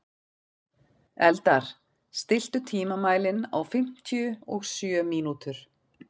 Eldar, stilltu tímamælinn á fimmtíu og sjö mínútur.